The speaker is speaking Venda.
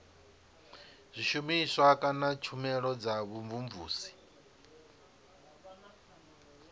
zwishumiswa kana tshumelo dza vhumvumvusi